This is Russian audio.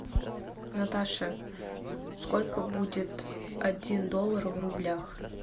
наташа сколько будет один доллар в рублях